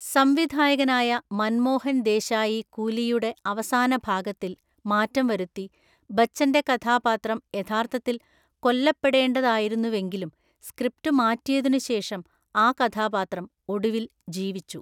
സംവിധായകനായ മൻമോഹൻ ദേശായി കൂലിയുടെ അവസാനഭാഗത്തിൽ മാറ്റം വരുത്തി, ബച്ചൻ്റെ കഥാപാത്രം യഥാർത്ഥത്തിൽ കൊല്ലപ്പെടേണ്ടതായിരുന്നുവെങ്കിലും സ്ക്രിപ്റ്റ് മാറ്റിയതിനുശേഷം ആ കഥാപാത്രം ഒടുവിൽ ജീവിച്ചു.